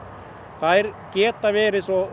þær geta verið svo